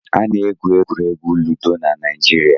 Ana-egwu egwuregwu Ludo na Naịjirịa.